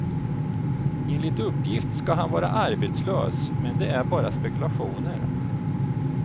Enligt uppgift ska han vara arbetslös men det är bara spekulationer.